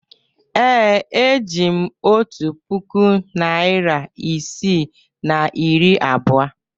Ee, eji m otu puku naịra isii na iri abụọ.